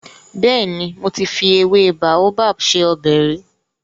Bẹ́ẹ̀ni, mo ti fi ewé Baobab se ọbẹ̀ rí.